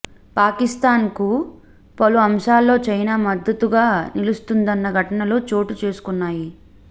పాకిస్తాన్కు పలు అంశాల్లో చైనా మద్దతుగా నిలుస్తున్న ఘటనలు చోటు చేసుకొన్నాయి